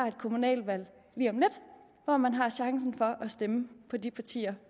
et kommunalvalg hvor man har chance for at stemme på det parti